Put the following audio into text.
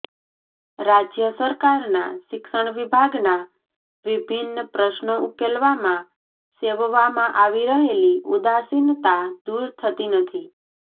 રાજ્ય સરકારના શિક્ષણ વિભાગના વિભિન્ન પ્રશ્નો ઉકેલવામાં સેવવામાં આવી રહેલી ઉદાસીનતા દૂર થતી નથી